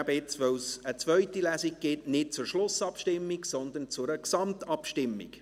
Da es eine zweite Lesung gibt, kommen wir jetzt nicht zur Schlussabstimmung, sondern zu einer Gesamtabstimmung.